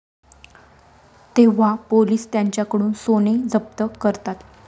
तेव्हा पोलिस त्यांच्याकडून सोने जप्त करतात.